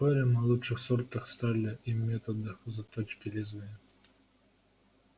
спорим о лучших сортах стали и методах заточки лезвия